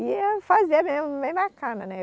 E ia fazer mesmo, bem bacana, né?